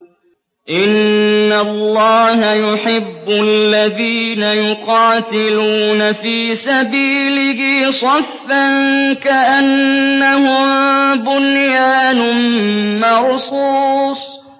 إِنَّ اللَّهَ يُحِبُّ الَّذِينَ يُقَاتِلُونَ فِي سَبِيلِهِ صَفًّا كَأَنَّهُم بُنْيَانٌ مَّرْصُوصٌ